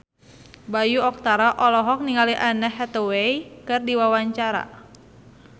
Bayu Octara olohok ningali Anne Hathaway keur diwawancara